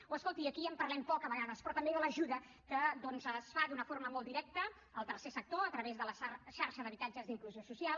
o escolti’m aquí en parlem poc a vegades però també de l’ajuda que doncs es fa d’una forma molt directa al tercer sector a través de la xarxa d’habitatges d’inclusió social